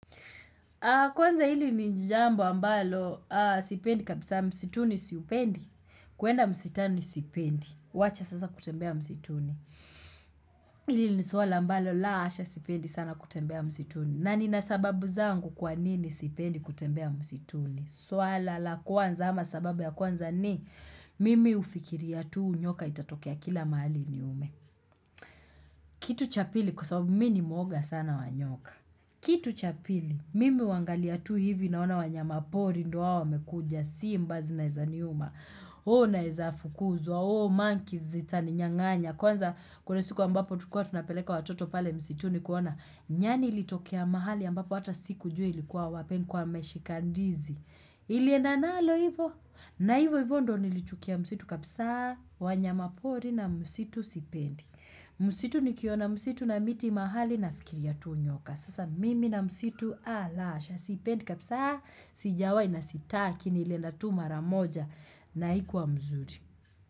Kwanza hili ni jambo ambalo, sipendi kabisa msituni siupendi, kuenda msitani sipendi, wacha sasa kutembea msituni. Hili ni suala ambalo, laa asha sipendi sana kutembea msituni. Na nina sababu zangu kwa nini sipendi kutembea msituni? Suala la kwanza ama sababu ya kwanza ni, mimi hufikiria tu nyoka itatokea kila mahali iniume. Kitu cha pili kwa sababu mi ni mwoga sana wa nyoka. Kitu cha pili, mimi huangalia tu hivi naona wanyama pori ndo wao wamekuja simba zi naeza niuma Oh naeza fukuzwa, oh monkeys zitaninyanganya Kwanza kuna siku ambapo tulikua tunapeleka watoto pale msituni kuona Nyani ilitokea mahali ambapo hata sikujua ilikuwa wapi nilikwa nimeshika ndizi Ilienda nalo hivo, na hivo hivo ndo nilichukia msitu kabisa wanyama pori na msitu sipendi msitu nikiona msitu na miti mahali nafikiria tu nyoka Sasa mimi na msitu a la asha Sipendi kabisa Sijawai na sitaki nilienda tu mara moja na haikuwa mzuri.